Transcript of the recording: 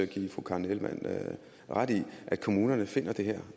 give fru karen ellemann ret i at kommunerne finder det her